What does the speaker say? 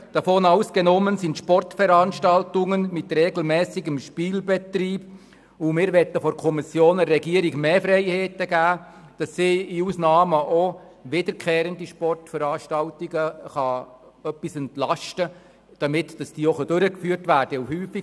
Dieser lautet: «Davon ausgenommen sind Sportveranstaltungen mit regelmässigem Spielbetrieb.» Die Kommission will der Regierung mehr Freiheiten geben, damit sie in Ausnahmefällen wiederkehrende Sportveranstaltungen ein wenig entlasten kann, damit diese auch durchgeführt werden können.